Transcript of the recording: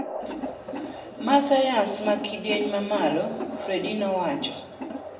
Ma sayans ma kidieny mamalo, Friede nowacho.